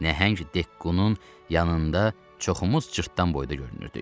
Nəhəng Dekkunun yanında çoxumuz cırtdan boyda görünürdük.